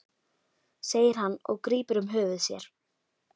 segir hann og grípur um höfuð sér.